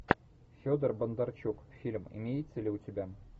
федор бондарчук фильм имеется ли у тебя